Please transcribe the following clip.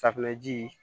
Safunɛji